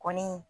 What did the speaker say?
Kɔni